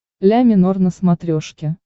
ля минор на смотрешке